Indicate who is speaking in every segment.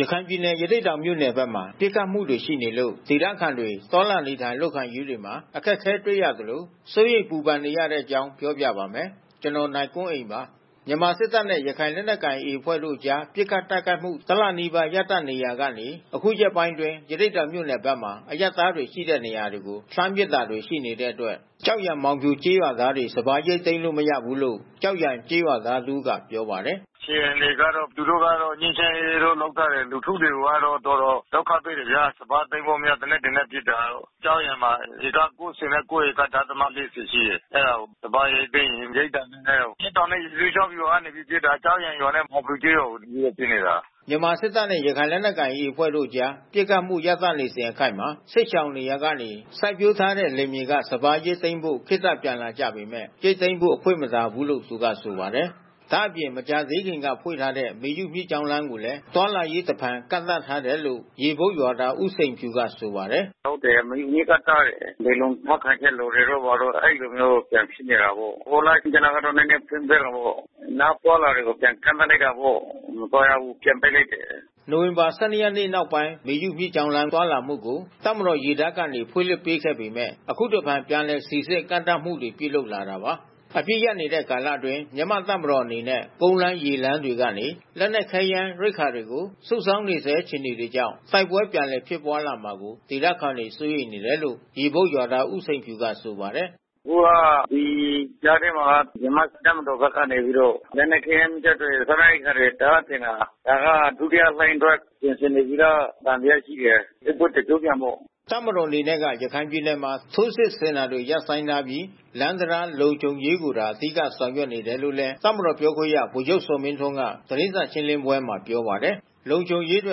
Speaker 1: ရခိုင်ပြည်နယ် ရသေ့တောင်မြို့နယ်ဘက်မှာ ပစ်ခတ်မှုတွေရှိနေလို့ ဒေသခံတွေ သွားလာနေထိုင် လုပ်ကိုင်ရေးတွေမှာ အခက်အခဲတွေ့ရသလို စိုးရိမ်ပူပန်နေကြပါတယ်။ အပြည့်အစုံကို နိုင်ကွန်းအိန် စုစည်းတင်ပြထားပါတယ်။ မြန်မာစစ်တပ်နဲ့ ရခိုင်လက်နက်ကိုင် AA အဖွဲ့တို့ကြား ပစ်ခတ်တိုက်ခိုက်မှု တလနီးပါး ရပ်တန့်နေရာကနေ အခုရက်ပိုင်းအတွင်း ရသေ့တောင်မြို့နယ်ဘက်မှာ အရပ်သားတွေရှိတဲ့ နေရာတွေကို လှမ်းပစ်တာတွေ ရှိတဲ့အတွက် ကျောက်ရံ မောင်ဖြူကျေးရွာသားတွေ စပါးရိတ်သိမ်းလို့ မရဘူးလို့ ကျောက်ရံကျေးရွာသားတဦးက ပြောပါတယ်။ “
Speaker 2: အခြေအနေကတော့ သူတို့ကတော့ ငြိမ်းချမ်းရေး လုပ်ထားတယ်။ လူထုတွေကတော့ တော်တော်ဒုက္ခတွေ့တယ်ဗျာ။ စပါးသိမ်းလို့မရ သေနတ်တွေနဲ့ပစ်တာ။ ကျောက်ရံမှာ ဧက ၉၉.၄၀ ရှိတယ်။ အဲဒါကို စပါးရိတ်သိမ်းရင် ရိတ်တာနဲ့ အမျက်တောင်နဲ့ ရေစိုးချောင်းဗျူဟာကနေ ပစ်တာ။ ကျောက်ရံရွာနဲ့ မောင်ဖြူကျေးရွာကို သူတို့က ပစ်နေတာ။
Speaker 1: ” မြန်မာစစ်တပ်နဲ့ ရခိုင်လက်နက်ကိုင် AA အဖွဲ့တို့အကြား ပစ်ခတ်မှု ရပ်တန့်နေစဉ်အခိုက်မှာ စစ်ရှောင်နေရာကနေ စိုက်ပျိုးထားတဲ့ လယ်မြေက စပါးရိတ်သိမ်းဖို့ ခေတ္တပြန်လာကြပေမယ့် ရိတ်သိမ်းဖို့ အခွင့်မသာဘူးလို့ သူကဆိုပါတယ်။ ဒါ့အပြင် မကြာသေးခင်က ဖွင့်ထားတဲ့ မေယုမြစ်ကြောင်းလမ်းကိုလည်း သွားလာရေး တဖန်ကန့်သတ်ထားတယ်လို့ ရေဘုတ်ရွာသား ဦးစိန်ဖြူက ဆိုပါတယ်။
Speaker 2: “ဟုတ်တယ်။ မေယုမြစ်က တားတယ်။ နယ်လုံထောက်ခံချက် လိုတယ်တို့ ဘာတို့ အဲဒီလိုမျိုး ပြန်ဖြစ်နေတယ်ပေါ့။ ဟိုလအတွင်း နည်းနည်းပြန်ဖွင့်ပေးတာပေါ့။ နောက် အသွားအလာတွေကို ပြန်ကန့်သတ်လိုက်တာပေါ့။ မသွားရဘူး ပြန်ပိတ်လိုက်တယ်။
Speaker 1: ” နိုဝင်ဘာလ ၁၂ ရက်နေ့နောက်ပိုင်း မေယုမြစ်ကြောင်းလမ်း သွားလာမှုကို တပ်မတော်ရေတပ်ကနေ ဖွင့်လှစ်ပေးခဲ့ပေမယ့် အခုတဖန် ပြန်လည်စိစစ် ကန့်သတ်မှုတွေ ပြုလုပ်လာတာပါ။ အပစ်ရပ်နေတဲ့ ကာလအတွင်း မြန်မာ့တပ်မတော်အနေနဲ့ ကုန်းလမ်း၊ ရေလမ်းတွေကနေ လက်နက်ခဲယမ်း ရိက္ခာတွေကို စုဆောင်းနေဆဲ အခြေအနေကြောင့် တိုက်ပွဲ ပြန်လည်ဖြစ်ပွားလာမှာကို ဒေသခံတွေ စိုးရိမ်တယ်လို့ ရေဘုတ်ရွာသား ဦးစိန်ဖြူက ဆိုပါတယ်။
Speaker 2: “အခုက ဒီကြားထဲမှာက မြန်မာ့တပ်မတော်ကနေပြီးတော့ လက်နက်ခဲယမ်းမီးကျောက်တွေ စားနပ်ရိက္ခာတွေ တအားတင်တာ။ ဒါက ဒုတိယလှိုင်းအတွက် ပြင်ဆင်နေပြီလား သံသယရှိတယ်။ စစ်ပွဲတကျော့ပြန်ပေါ့။”
Speaker 1: တပ်မတော်က ရခိုင်ပြည်နယ်မှာ ထိုးစစ်ဆင်တာတွေ ရပ်ဆိုင်းထားပြီး လမ်းတံတား လုံခြုံရေးကိုသာ အဓိက ဆောင်ရွက်နေတယ်လု့ိလည်း တပ်မတော်ပြောခွင့်ရ ဗိုလ်ချုပ်ဇော်မင်းထွန်းက သတင်းစာရှင်းလင်းပွဲမှာ ပြောပါတယ်။ လုံခြုံရေးအတွ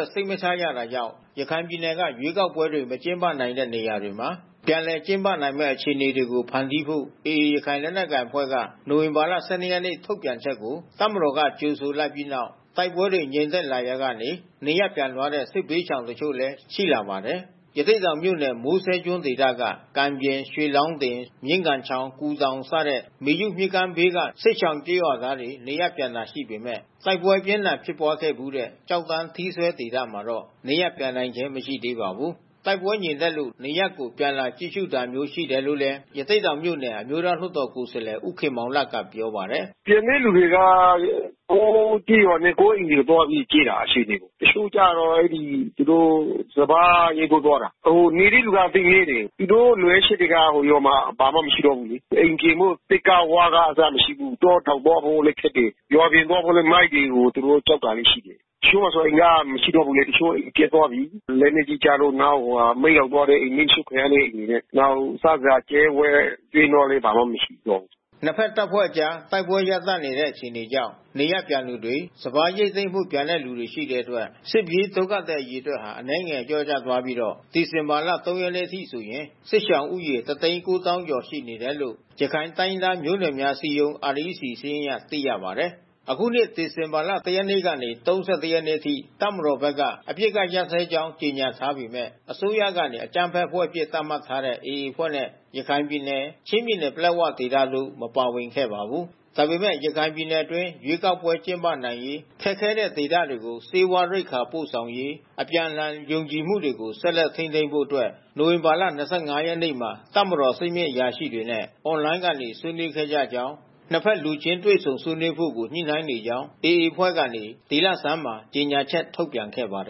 Speaker 1: က် စိတ်မချရတာကြောင့် ရခိုင်ပြည်နယ်က ရွေးကောက်ပွဲတွေ မကျင်းပနိုင်ခဲ့တဲ့ နေရာတွေမှာ ပြန်လည်ကျင်းပနိုင်မယ့် အခြေအနေတွေ ဖန်တီးဖို့ AA ရခိုင်လက်နက်ကိုင်အဖွဲ့ရဲ့ နိုဝင်ဘာ ၁၂ ရက်နေ့ ထုတ်ပြန်ချက်ကို တပ်မတော်က ကြိုဆိုလိုက်ပြီးနောက် တိုက်ပွဲတွေ ငြိမ်သက်လာရာကနေ နေရပ်ပြန်သွားတဲ့ စစ်ဘေးရှောင်တချို့လည်း ရှိလာပါတယ်။ ရသေ့တောင်မြို့နယ် မိုးစဲကျွန်းဒေသက ကံပြင်၊ ရွှေလောင်းတင်၊ မြင်းဂန်ချောင်း၊ ကူတောင် စတဲ့ မေယုမြစ်ကမ်းဘေးက စစ်ရှောင်ရွာသားတွေ နေရပ်ပြန်တာရှိပေမယ့် တိုက်ပွဲအပြင်းအထန် ဖြစ်ပွားခဲ့ဖူးတဲ့ ကျောက်တန်း ထီးစွဲဒေသမှာတော့ နေရပ်ပြန်နိုင်ခြင်း မရှိသေးပါဘူး။ တိုက်ပွဲငြိမ်သက်လို့ နေရပ်ကို ပြန်လာကြည့်ရှုတာမျိုး ရှိတယ်လို့လည်း ရသေ့တောင်မြို့နယ် အမျိုးသားလွှတ်တော်ကိုယ်စားလှယ် ဦးခင်မောင်လတ်က ပြောပါတယ်။ “ပြ
Speaker 3: န်တဲ့သူတွေက ကိုယ့်ရပ်ရွာနဲ့ ကိုယ့်အိမ်ကို သွားကြည့်တာ အခြေအနေ၊ တချို့ကျတော့ သူတို့ စပါးရိတ်ဖို့ သွားတာ။ နေတဲ့သူက သိပ်နည်းတယ်။ သူတို့လိုအပ်ချက်က ရွာမှာ ဘာမှမရှိတော့ဘူးလေ။ အိမ်ပြင်ဖို့ သစ်က ဝါးကအစ မရှိဘူး။ တောတောင်သွားဖို့လည်း ခက်တယ်။ ရွာပြင်သွားဖို့လည်း မိုင်းတွေကို သူတို့ ကြောက်တာလည်းရှိတယ်။ တချို့ အိမ်ပျက်သွားပြီး လက်နက်ကြီးကျလို့ နောက် မီးလောင်သွားတဲ့အိမ် မီးရှို့ခံရတဲ့အိမ် နောက် စားစရာ ကြက်ဝက်ကျွဲနွားလည်း ဘာမှမရှိတော့ဘူး။
Speaker 1: ” နှစ်ဖက်တပ်ဖွဲ့အကြား တိုက်ပွဲရပ်တန့်နေတဲ့ အခြေအနေကြောင့် နေရပ်ပြန်သူတွေ၊ စပါးရိတ်သိမ်းဖို့ ပြန်တဲ့သူတွေ ရှိတဲ့အတွက် စစ်ပြေးဒုက္ခသည် အရေအတွက်က အနည်းငယ် လျော့သွားပြီးတော့ ဒီဇင်ဘာလ ၃ ရက်နေ့အထိဆိုရင် စစ်ဘေးရှောင်ဦးရေ ၁၉၀,၀၀၀ ကျော်ရှိတယ်လို့ ရခိုင်တိုင်းရင်းသားမျိုးနွယ်များ အစည်းအရုံး (REC) စာရင်းအရ သိရပါတယ်။ အခုနှစ် ဒီဇင်ဘာလ ၁ ရက်ကနေ ၃၁ ရက်နေ့အထိ တပ်မတော်ဘက်က အပစ်အခတ်ရပ်စဲကြောင်း ကြေညာထားပေမယ့် အစိုးရကနေ အကြမ်းဖက်အဖွဲ့အဖြစ် သတ်မှတ်ထားတဲ့ AA အဖွဲ့နဲ့ ရခိုင်ပြည်နယ်၊ ချင်းပြည်နယ်၊ ပလက်ဝဒေသတို့ မပါဝင်ခဲ့ပါဘူး။ ဒါပေမယ့် ရခိုင်ပြည်နယ်အတွင်း ရွေးကောက်ပွဲ ကျင်းပနိုင်ရေး၊ ခက်ခဲတဲ့ဒေသတွေကို ဆေးဝါးရိက္ခာ ပို့ဆောင်ရေး၊ အပြန်အလှန် ယုံကြည်မှုကို ဆက်လက်ထိန်းသိမ်းဖို့အတွက် နိုဝင်ဘာလ ၂၅ ရက်နေ့မှာ တပ်မတော် အဆင့်မြင့်အရာရှိတွေနဲ့ Online က ဆွေးနွေးခဲ့ကြကြောင်းနဲ့ နှစ်ဖက် လူချင်းတွေ့ဆုံ ဆွေးနွေးဖို့ကို ညှိနှိုင်းနေကြောင်း AA အဖွဲ့ကနေ ဒီလဆန်းမှာ ကြေညာချက် ထုတ်ပြန်ခဲ့ပါတယ်